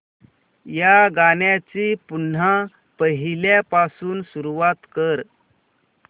या गाण्या ची पुन्हा पहिल्यापासून सुरुवात कर